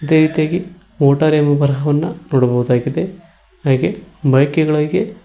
ಅದೇ ರೀತಿಯಾಗಿ ಮೋಟಾರ್ ಎಂಬ ಬರಹವನ್ನ ನೋಡಬಹುದಾಗಿದೆ ಹಾಗೆ ಬೈಕಿಗಳಗೆ--